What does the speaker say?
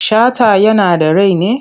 Shata yana da rai ne?